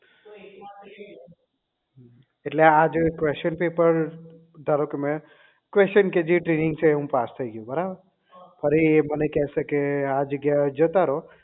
એટલે આ જે question પેપર ધારોકે મેં question કે જે training છે એ હું પાસ થઇ ગયો બરાબર અને એ મને કહેશે કે આ જગ્યા એ જતા રહો